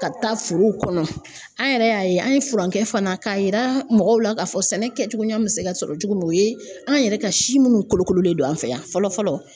Ka taa forow kɔnɔ an yɛrɛ y'a ye an ye furankɛ fana k'a yira mɔgɔw la k'a fɔ sɛnɛ kɛcogoya be se ka sɔrɔ cogo min o ye an yɛrɛ ka si minnu kolokololen don an fɛ yan fɔlɔ fɔlɔ